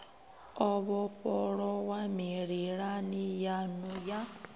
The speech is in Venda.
o vhofholowa mililani yanu ya